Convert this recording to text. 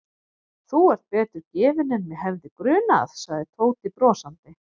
Þú ert betur gefinn en mig hefði grunað sagði Tóti brosandi.